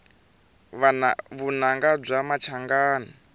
vunanga bya machangani